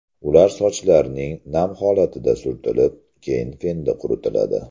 Ular sochlarning nam holatida surtilib, keyin fenda quritiladi.